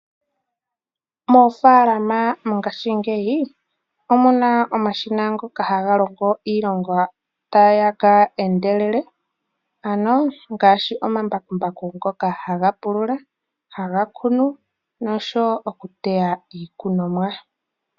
Moofaalama mongashingeyi omuna omashina ngoka haga longo iilonga taga endelele, ngaashi omambakumbaku ngoka haga pulula, haga kunu osho wo okuteya iikunomwa.